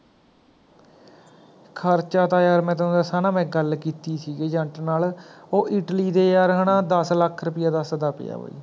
ਖਰਚਾ ਤਾਂ ਯਾਰ ਮੈਂ ਤੈਨੂਂੰ ਦਸਾਂ ਨਾ ਮੈਂ ਗੱਲ ਕੀਤੀ ਸੀ ਗੀ Agent ਨਾਲ ਉਹ ਇਟਲੀ ਦੇ ਯਾਰ ਹੈਨਾ ਦਸ ਲੱਖ ਰੁਪਏ ਦਸਦਾ ਪਿਆ ਵਯੀ